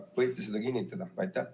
Kas võite seda kinnitada?